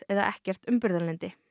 eða ekkert umburðarlyndi